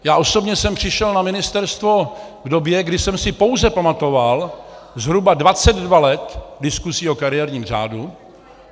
Já osobně jsem přišel na ministerstvo v době, kdy jsem si pouze pamatoval zhruba 22 let diskusí o kariérním řádu.